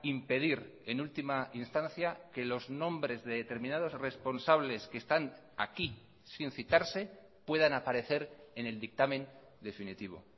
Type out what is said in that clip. impedir en última instancia que los nombres de determinados responsables que están aquí sin citarse puedan aparecer en el dictamen definitivo